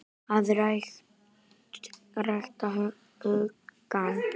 AÐ RÆKTA HUGANN